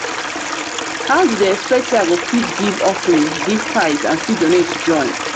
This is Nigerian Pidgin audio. how you dey expect say i go fit give offering give tithe and still donate join?